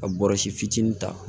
Ka bɔrɔsi fitinin ta